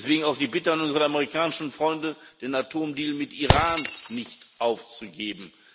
Deswegen auch die Bitte an unsere amerikanischen Freunde, den Atomdeal mit Iran nicht aufzugeben.